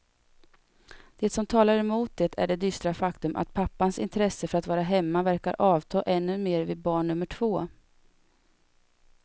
Det som talar emot det är det dystra faktum att pappans intresse för att vara hemma verkar avta ännu mer vid barn nummer två.